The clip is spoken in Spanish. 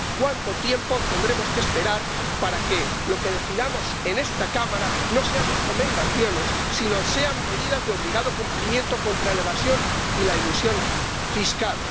¿Cuánto tiempo tendremos que esperar para que lo que decidamos en esta Cámara no sean recomendaciones sino medidas de obligado cumplimiento contra la evasión y la elusión fiscales?